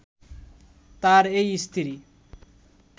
তার এই স্ত্রী